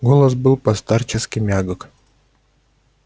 голос был по-старчески мягок